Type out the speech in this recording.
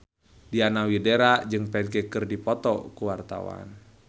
Diana Widoera jeung Ferdge keur dipoto ku wartawan